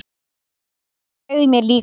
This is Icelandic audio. Hann sagði mér líka að